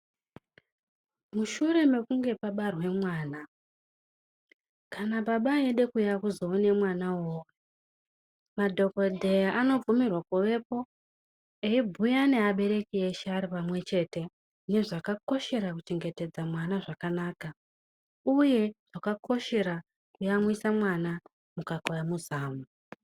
Mushure mekunge pabarwe mwana kana baba eida kuuya kuzoona mwana uwowo, madhokodheya anobvumirwa kuvepo eibhuya neabereki eshe ari pamwechete nezvakakoshera kuchengetedza mwana zvakanaka uye zvakakoshera kuyamwisa mwana mukaka wemuzamu.